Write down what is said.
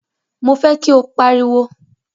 Mo fẹ́ kí ó pariwo!